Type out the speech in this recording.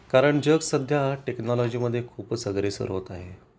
कारण जग सध्या टेक्नॉलॉजी मध्ये खूपच अग्रेसर होत आहे